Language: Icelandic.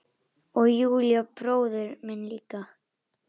Og Júra bróðir minn líka.